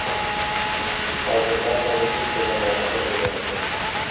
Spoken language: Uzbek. Hozir barchamiz bitta jamoada o‘ynayapmiz.